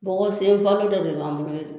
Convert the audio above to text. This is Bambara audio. Mɔgɔ sen fa dɔ de b'an bolo ye